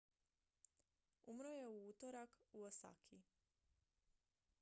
umro je u utorak u osaki